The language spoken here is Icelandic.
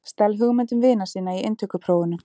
Stal hugmyndum vina sinna í inntökuprófunum